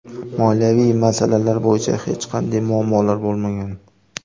Moliyaviy masalalar bo‘yicha hech qanday muammolar bo‘lmagan.